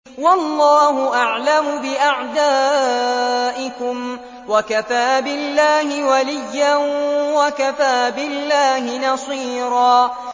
وَاللَّهُ أَعْلَمُ بِأَعْدَائِكُمْ ۚ وَكَفَىٰ بِاللَّهِ وَلِيًّا وَكَفَىٰ بِاللَّهِ نَصِيرًا